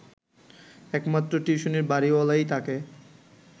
একমাত্র টিউশনির বাড়িওয়ালাই তাকে